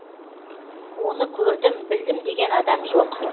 оны көрдім білдім деген адам жоқ